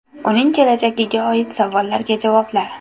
Uning kelajagiga oid savollarga javoblar.